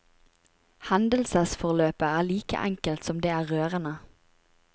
Hendelsesforløpet er like enkelt som det er rørende.